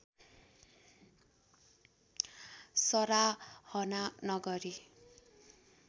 सराहना नगरी